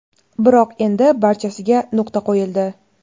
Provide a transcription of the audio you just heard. biroq endi barchasiga nuqta qo‘yildi.